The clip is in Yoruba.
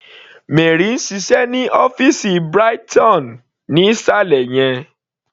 Mary ń ṣiṣẹ́ ní ọ́fìsì Brighton ní ìsàlẹ̀ yẹn..